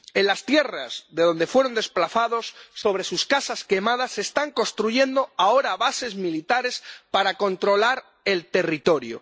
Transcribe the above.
En las tierras de donde fueron desplazados, sobre sus casas quemadas, se están construyendo ahora bases militares para controlar el territorio.